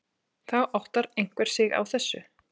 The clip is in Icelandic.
Þá áttar einhver sig á þessu.